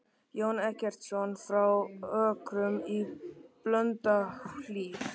Jón Eggertsson frá Ökrum í Blönduhlíð.